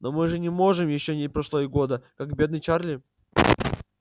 но мы же не можем ещё не прошло и года как бедный чарли